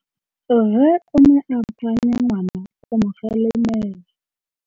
Rre o ne a phanya ngwana go mo galemela.